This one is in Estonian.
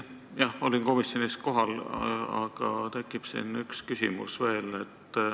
Jah, ma olin komisjonis kohal, aga mul tekkis siin üks küsimus veel.